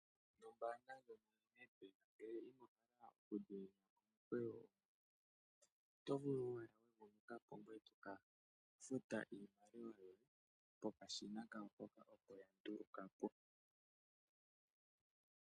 Nombaanga ndjono yo Nedbank, ngele ino hala okuya momukweyo, oto vulu owala wuye wa uluka ko ngoye toka futa iimaliwa yoye po kashina kawo hoka opo ya nduluka po.